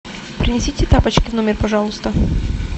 принесите тапочки в номер пожалуйста